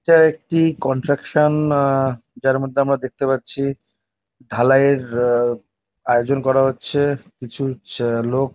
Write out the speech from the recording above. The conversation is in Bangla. এটা একটি কনট্রাকশান । না আ যার মধ্যে আমরা দেখতে পাচ্ছি ঢালাইয়ের আ আয়োজন করা হচ্ছে। কিছু ছ লোক --